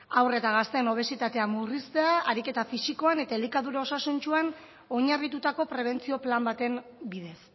haur eta gazteen obesitatea murriztea ariketa fisikoan eta elikadura osasuntsuan oinarritutako prebentzio plan baten bidez